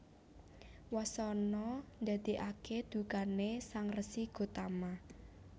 Wasana ndadèkaké dukané Sang Resi Gotama